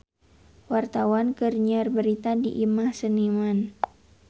Wartawan keur nyiar berita di Imah Seniman